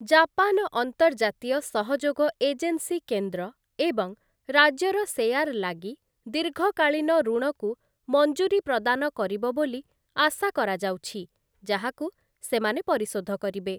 Japan ଅନ୍ତର୍ଜାତୀୟ ସହଯୋଗ agency କେନ୍ଦ୍ର ଏବଂ ରାଜ୍ୟର ସେୟାର ଲାଗି ଦୀର୍ଘକାଳୀନ ଋଣକୁ ମଞ୍ଜୁରି ପ୍ରଦାନ କରିବ ବୋଲି ଆଶା କରାଯାଉଛି, ଯାହାକୁ ସେମାନେ ପରିଶୋଧ କରିବେ ।